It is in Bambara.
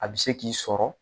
A bi se k'i sɔrɔ